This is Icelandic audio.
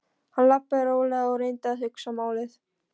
Hann labbaði rólega og reyndi að hugsa málið.